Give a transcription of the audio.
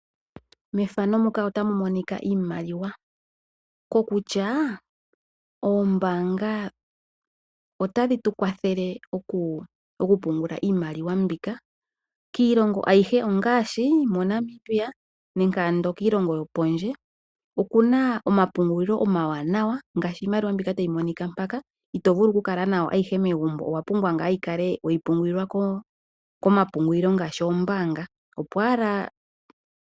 Mefano muka otamu monika iimaliwa. Ko kutya oombanga otadhi tu kwathele oku pungula iimaliwa mbika. Miilongo ayihe ongaashi moNanamibia nenge ando kiilongo yopondje, okuna omapungulilo omawanawa ngaashi iimaliwa mbika tayi monika mpaka ito vulu oku kala nayo megumbo. Owa pumbwa ngaa yikale weyi pungulilwa komapungulilo ngaashi oombanga.